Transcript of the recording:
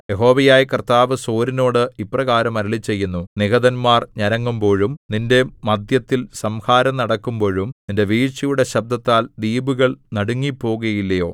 യഹോവയായ കർത്താവ് സോരിനോട് ഇപ്രകാരം അരുളിച്ചെയ്യുന്നു നിഹതന്മാർ ഞരങ്ങുമ്പോഴും നിന്റെ മദ്ധ്യത്തിൽ സംഹാരം നടക്കുമ്പോഴും നിന്റെ വീഴ്ചയുടെ ശബ്ദത്താൽ ദ്വീപുകൾ നടുങ്ങിപ്പോകുകയില്ലയോ